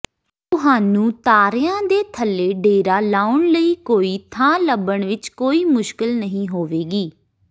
ਤੁਹਾਨੂੰ ਤਾਰਿਆਂ ਦੇ ਥੱਲੇ ਡੇਰਾ ਲਾਉਣ ਲਈ ਕੋਈ ਥਾਂ ਲੱਭਣ ਵਿੱਚ ਕੋਈ ਮੁਸ਼ਕਲ ਨਹੀਂ ਹੋਵੇਗੀ